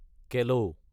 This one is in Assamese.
কেল